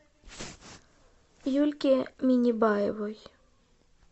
юльке минибаевой